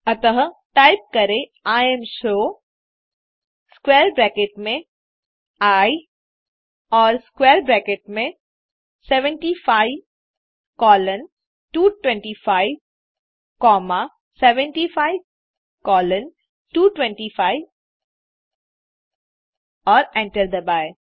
अतः टाइप करें imshow square bracket में आई और स्क्वैर ब्रैकेट में 75 कोलोन 225 कॉमा 75 कोलोन 225 और एंटर दबाएँ